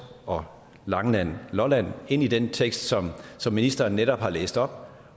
og langeland lolland ind i den tekst som ministeren netop har læst op